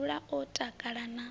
a dzule o takala na